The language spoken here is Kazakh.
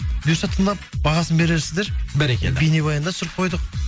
бұйырса тыңдап бағасын берерсіздер бәрекелді бейнебаян да түсіріп қойдық